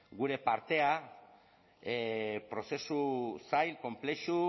gure partea prozesu zail konplexu